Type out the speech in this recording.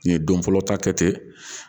N ye don fɔlɔ ta kɛ ten